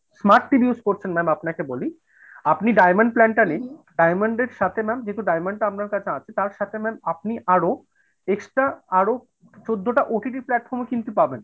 smart TV use করছেন ma'am আপনাকে বলি আপনি diamond plan টা নিন diamond এর সাথে ma'am যেহেতু diamond টা আপনার কাছে আছে, তার সাথে ma'am আপনি আরো extra আরো চোদ্দটা OTT platform কিন্তু পাবেন।